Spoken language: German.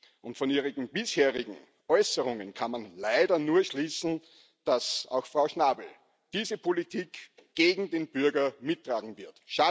Aus ihren bisherigen Äußerungen kann man leider nur schließen, dass auch Frau Schnabel diese Politik gegen den Bürger mittragen wird.